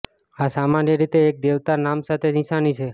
આ સામાન્ય રીતે એક દેવતા નામ સાથે નિશાની છે